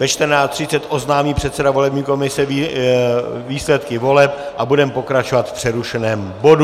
Ve 14.30 oznámí předseda volební komise výsledky voleb a budeme pokračovat v přerušeném bodu.